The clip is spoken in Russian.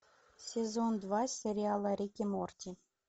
сезон два сериала рик и морти